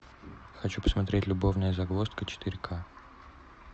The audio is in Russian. хочу посмотреть любовная загвоздка четыре ка